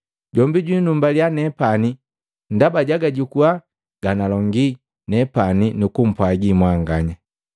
Jombi jwinumbaliya nepani ndaba jagajukua ganalongi nepani nu kumpwaji mwanganya.